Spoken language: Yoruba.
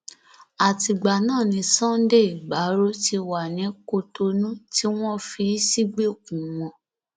àtìgbà náà ni sunday igbárò ti wà ní kutonu tí wọn fi í sígbèkùn wọn